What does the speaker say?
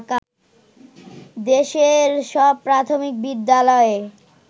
দেশের সব প্রাথমিক বিদ্যালয়ে